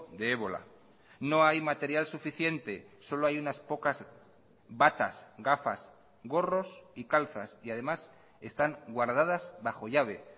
de ébola no hay material suficiente solo hay unas pocas batas gafas gorros y calzas y además están guardadas bajo llave